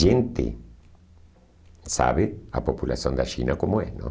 Gente sabe a população da China como é, não?